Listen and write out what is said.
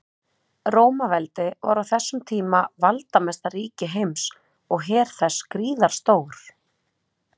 Rómaveldi var á þessum tíma valdamesta ríki heims og her þess gríðarstór.